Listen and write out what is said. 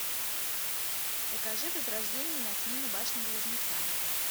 покажи возрождение на смену башням близнецам